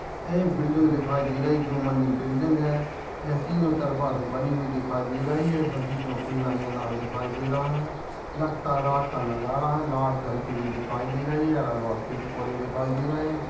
ये बिल्डिंग दिखाई दे रही दो मंजिल बिल्डिंग है। यह तीनों तरफा से बनी हुई दिखाई दे रही है सभी तो खुल्ला खाई दे रहा है लगता है रात का नजारा है लाइट जलती दिखाई दे रही है अलग बगल पेड़ पौधे दिखाई दे रहे है।